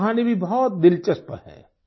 उनकी कहानी भी बहुत दिलचस्प है